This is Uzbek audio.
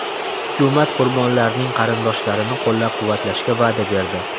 Hukumat qurbonlarning qarindoshlarini qo‘llab-quvvatlashga va’da berdi.